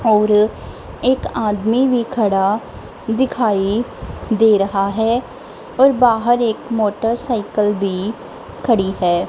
और एक आदमी भी खड़ा दिखाई दे रहा है और बाहर एक मोटरसाइकल भी खड़ी है।